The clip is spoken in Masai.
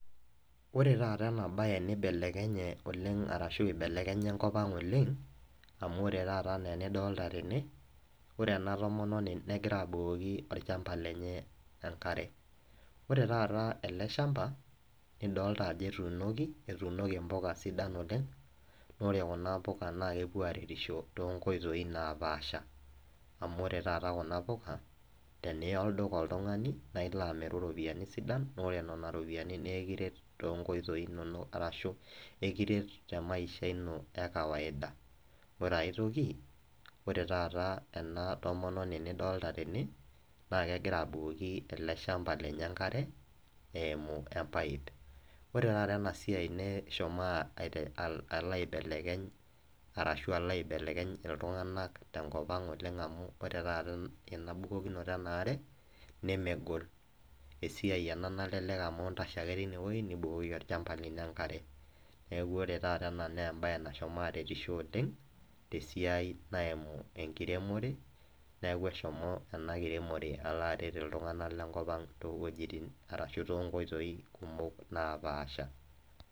Ore taata ena bae neibelebelekenya ashu eibelekenya enkop aang' oleng', amu ore taata anaa enidolta tene, ore ena tomononi negira abukoki olchamba lenye enkare, ore ele chamba nidolita ajo ketuunoki, ketuunoki imbuka sidan oleng', ore Kuna puka naa kepuo aretisho too inkoitoi napaasha. Amu ore taata Kuna puka, ore pee iya oltung'ani olduka naa ilo amiru iropiani sidain, naa ore nena ropiani nekiret too inkoitoi kumok ashu nekiret too inkoitoi e kawaida[cs. Ore ai toki, ore taata ena tomononi nidolita tene, naa kegira abukoki ele shamba lenye enkare eimu empaip, ore taata ena siai meshomo alo aibelekeny arashu alo aibelekeny iltung'ana te enkop aang' amu ore taata ena siai embukokinoto e nkare nemegol, amu esiai nintasho ake teine wueji nibukoki ake olchamba lino enkare. Neaku ore taata ena na embae nashomo aretisho oleng' te esiai naimu enkiremore, neaku eshomo ena kiremore alo aimu iltung'ana le enkop aang' to inkoitoi kumok napaasha.